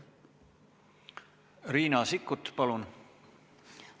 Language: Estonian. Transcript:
Riina Sikkut, palun!